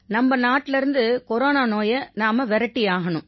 நம்ம நாட்டிலேர்ந்து கொரோனா நோயை நாம விரட்டியாகணும்